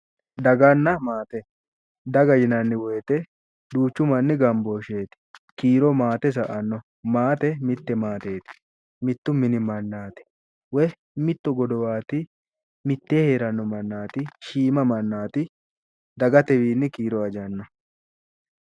Daganna maate, daga yinanni woyte duuchumanni gambooshsheeti kiiro maate sa"anno, maate mitte maateeti mittu mini mannaati woy mitto godowaati woy mittee hee'ranno mannaati, shiima mannaati, dagatewiinni kiiro ajanno